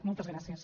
moltes gràcies